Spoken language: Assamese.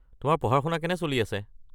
তোমাৰ পঢ়া-শুনা কেনে চলি আছে?